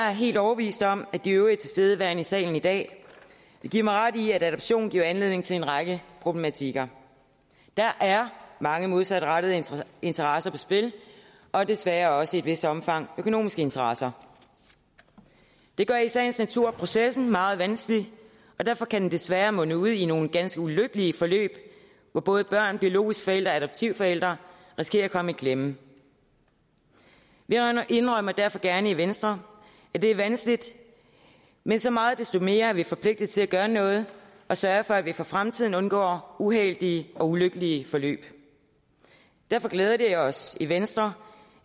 er helt overbevist om at de øvrige tilstedeværende i salen i dag vil give mig ret i at adoption giver anledning til en række problematikker der er mange modsatrettede interesser på spil og desværre også i et vist omfang økonomiske interesser det gør i sagens natur processen meget vanskelig og derfor kan den desværre munde ud i nogle ganske ulykkelige forløb hvor både børn biologiske forældre og adoptivforældre risikerer at komme i klemme vi indrømmer derfor gerne i venstre at det er vanskeligt men så meget desto mere er vi forpligtet til at gøre noget og sørge for at vi for fremtiden undgår uheldige og ulykkelige forløb derfor glæder det os i venstre